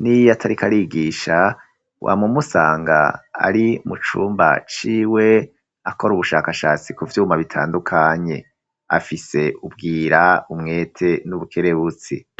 n'iyatarikarigisha wam'umusanga ari mucumba ciwe akora ubushakashatsi ku vyuma bitandukanye, afise ubwira umwete n'ubukerebutsi